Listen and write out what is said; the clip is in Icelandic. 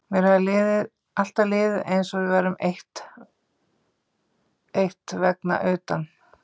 Mér hafði alltaf liðið eins og við værum eitt vegna utan